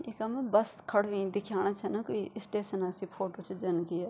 इखम बस खड़ीं हुईं दिख्याणा छन कुई स्टेशन सी फोटो च जन की या।